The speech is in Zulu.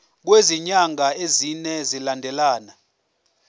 kwezinyanga ezine zilandelana